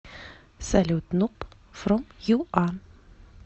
салют нуб фром ю а